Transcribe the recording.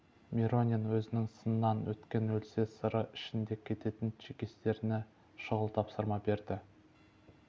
миронин өзінің сыннан өткен өлсе сыры ішінде кететін чекистеріне шұғыл тапсырма берді